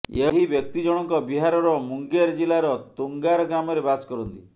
ଏହି ବ୍ୟକ୍ତି ଜଣଙ୍କ ବିହାରର ମୁଙ୍ଗେର ଜିଲ୍ଲାର ତୁଙ୍ଗାର ଗ୍ରାମରେ ବାସ କରନ୍ତି